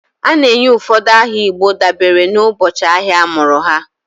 A na-enye ụfọdụ aha igbo dabere n'ụbọchị ahịa a mụrụ ha.